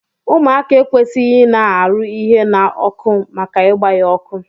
Ụmụaka ekwesighi ina arụ ihe na ọkụ maka igba ya ọkụ!